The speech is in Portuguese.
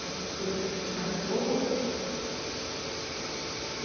Alguma coisa que te marcou?